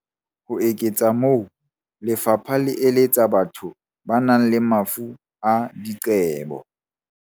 Ho eketsa moo, lefapha le eletsa batho ba nang le mafu a diqebo.